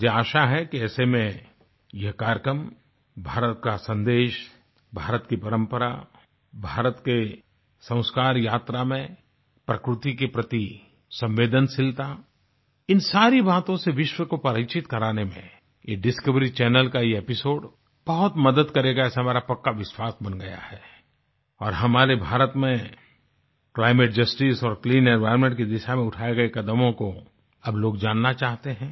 मुझे आशा है कि ऐसे में यह कार्यक्रम भारत का सन्देश भारत की परंपरा भारत के संस्कार यात्रा में प्रकृति के प्रति संवेदनशीलता इन सारी बातों से विश्व को परिचित कराने में ये डिस्कवरी चैनल का ये एपिसोड बहुत मदद करेगा ऐसा मेरा पक्का विश्वास बन गया है और हमारे भारत में क्लाइमेट जस्टिस और क्लीन एनवायर्नमेंट की दिशा में उठाये गए कदमों को अब लोग जानना चाहते हैं